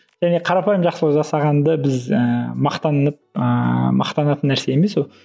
яғни қарапайым жақсылық жасағанды біз ііі мақтанып ыыы мақтанатын нәрсе емес ол